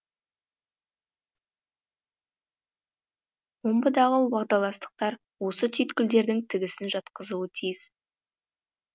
омбыдағы уағдаластықтар осы түйткілдердің тігісін жатқызуы тиіс